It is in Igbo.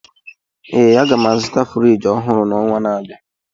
Ee, aga m azụta Friji ọhụrụ n'ọnwa na-abịa